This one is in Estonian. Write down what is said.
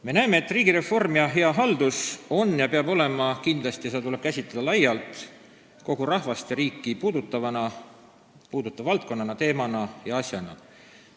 Me näeme, et riigireform ja hea haldus on lai, kogu rahvast ja riiki puudutav valdkond, teema ja asi ning nii peab seda kindlasti käsitlema.